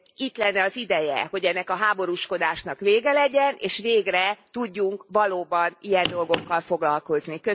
Itt lenne az ideje, hogy ennek a háborúskodásnak vége legyen, és végre tudjunk valóban ilyen dolgokkal foglalkozni.